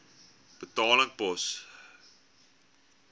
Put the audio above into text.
betaling pos